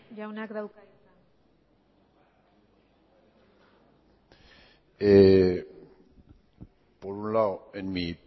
jaunak dauka hitza por un lado en mi